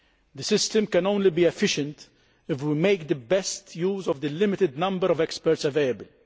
The system can only be efficient if we make the best use of the limited number of experts available.